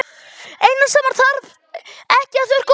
Eina sem hann þarf ekki að þurrka út.